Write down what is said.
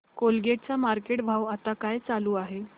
Colgate चा market भाव आता काय चालू आहे